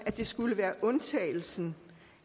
det skulle være undtagelsen